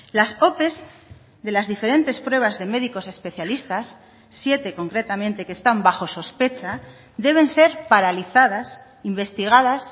las ope de las diferentes pruebas de médicos especialistas siete concretamente que están bajo sospecha deben ser paralizadas investigadas